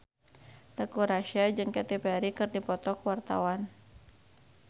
Teuku Rassya jeung Katy Perry keur dipoto ku wartawan